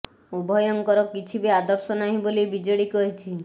ଉଭୟଙ୍କର କିଛି ବି ଆଦର୍ଶ ନାହିଁ ବୋଲି ବିଜେଡି କହିଛି